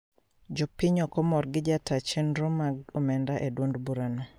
Jopiny okomor gi jataa chendro mag omenda e duond bura no